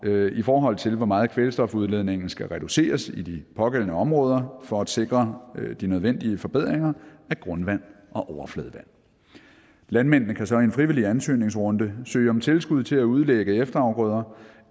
i forhold til hvor meget kvælstof udledninger skal reduceres i de pågældende områder for at sikre de nødvendige forbedringer af grundvand og overfladevand landmændene kan så i en frivillig ansøgningsrunde søge om tilskud til at udlægge efterafgrøder